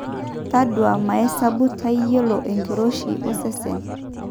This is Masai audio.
taduaa maesabu tayiolo enkiroshi osesen